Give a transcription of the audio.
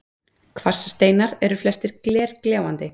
Kvarssteinar eru flestir glergljáandi